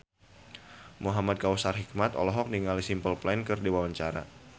Muhamad Kautsar Hikmat olohok ningali Simple Plan keur diwawancara